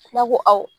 N'a ko awɔ